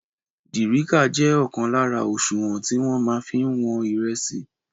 Dìrícà jẹ́ ọ̀kan lára òṣùwọ̀n tí wọ́n máa fí ń wọn ìrẹsì.